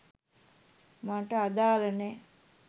මට අදාල නෑ